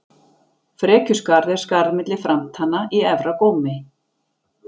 Frekjuskarð er skarð milli framtanna í efra gómi.